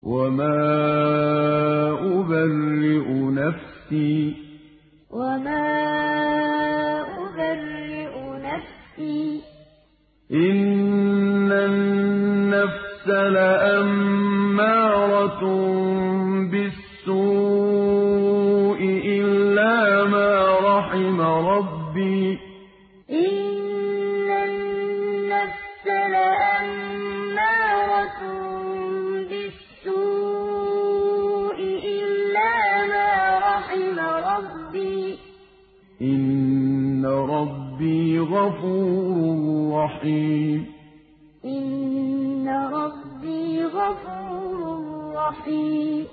۞ وَمَا أُبَرِّئُ نَفْسِي ۚ إِنَّ النَّفْسَ لَأَمَّارَةٌ بِالسُّوءِ إِلَّا مَا رَحِمَ رَبِّي ۚ إِنَّ رَبِّي غَفُورٌ رَّحِيمٌ ۞ وَمَا أُبَرِّئُ نَفْسِي ۚ إِنَّ النَّفْسَ لَأَمَّارَةٌ بِالسُّوءِ إِلَّا مَا رَحِمَ رَبِّي ۚ إِنَّ رَبِّي غَفُورٌ رَّحِيمٌ